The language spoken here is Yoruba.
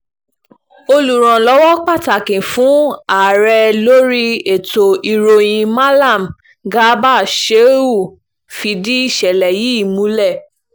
olùrànlọ́wọ́ pàtàkì fún ààrẹ lórí ètò ìròyìn mallam garba shehu fìdí ìṣẹ̀lẹ̀ yìí múlẹ̀